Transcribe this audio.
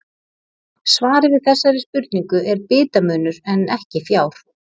Svarið við þessari spurningu er bitamunur en ekki fjár.